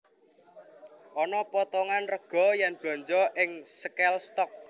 Ono potongan rego yen blonjo ing Sale Stock